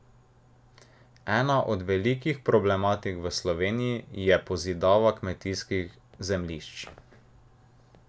Ena od velikih problematik v Sloveniji je pozidava kmetijskih zemljišč.